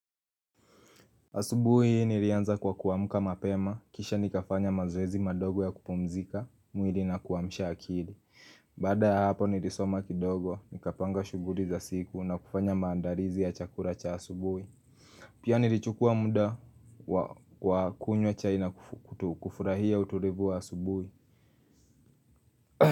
Asubuhi nilianza kwa kuwamuka mapema, kisha nikafanya mazoezi madogo ya kupumzika, muili na kuwamsha akili. Bada ya hapo nilisoma kidogo, nikapanga shuguri za siku na kufanya maandarizi ya chakura cha asubuhi. Pia nilichukua muda kwa kunywa chai na kufurahia uturivu wa asubuhi.